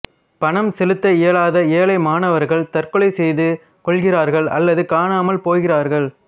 பணம் செலுத்த இயலாத ஏழை மாணவர்கள் தற்கொலை செய்து கொள்கிறார்கள் அல்லது காணாமல் போகிறார்கள்